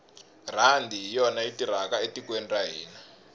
rhandi hi yona yi tirhaka etikweni ra hina